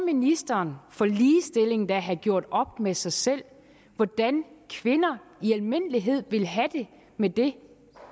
ministeren for ligestilling må da have gjort op med sig selv hvordan kvinder i almindelighed vil have det med det